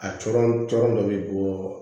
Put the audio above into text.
A cɔrɔn cɔrɔ dɔ be bɔ